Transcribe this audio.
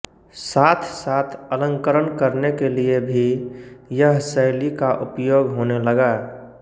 साथ साथ अलंकरण करने के लिये भी यह शैली का उपयोग होने लगा